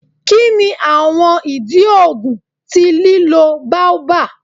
Kini awọn idi oogun ti lilo baobab?